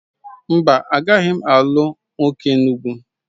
Mba, agaghị m ilu nwoke Enugwu